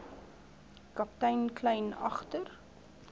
kaptein kleyn agter